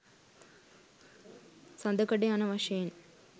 සඳකඩ යන වශයෙන්